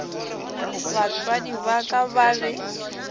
batswadi ba ka ba be